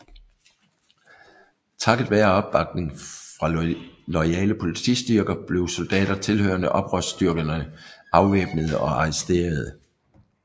Takket være opbakning fra loyale politistyrker blev soldater tilhørende oprørsstyrkerne afvæbnede og arresterede